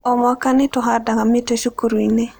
O mwaka nĩ tũhandaga mĩtĩ cukuru-inĩ.